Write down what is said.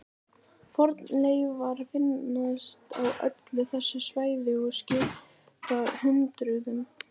Fornleifar finnast á öllu þessu svæði og skipta hundruðum.